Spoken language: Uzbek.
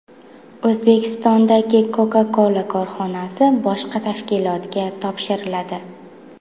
O‘zbekistondagi Coca-Cola korxonasi boshqa tashkilotga topshiriladi.